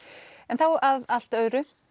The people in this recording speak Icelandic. þá að allt öðru